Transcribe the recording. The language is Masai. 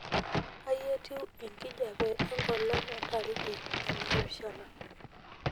kai etiu enkijape engolon entariki enaapishana